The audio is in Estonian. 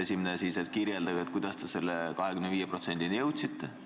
Esiteks, palun kirjeldage, kuidas te selle 25%-ni jõudsite!